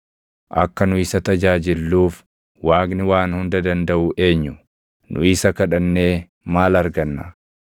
Akka nu isa tajaajilluuf Waaqni waan Hunda Dandaʼu eenyu? Nu isa kadhannee maal arganna?’